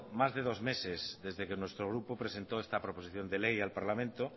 más de dos meses desde que nuestro grupo presentó esta proposición de ley al parlamento